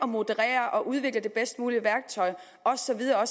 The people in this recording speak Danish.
moderere og udvikle det bedst mulige værktøj og så videre